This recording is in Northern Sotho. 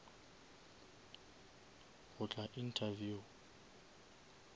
go tla interview